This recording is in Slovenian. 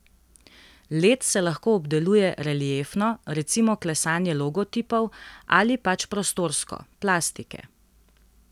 Led se lahko obdeluje reliefno, recimo klesanje logotipov, ali pač prostorsko, plastike.